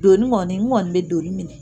Doni kɔni n kɔni bɛ doni minɛ